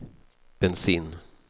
bensin